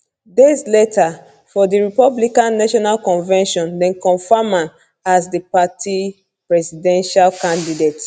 days later for di republican national convention dem confam am as di party presidential candidate